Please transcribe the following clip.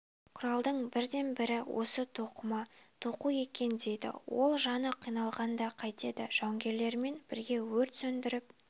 құралдың бірден-бірі осы тоқыма тоқу екен дейді ол жаны қиналғанда қайтеді жауынгерлермен бірге өрт сөндіріп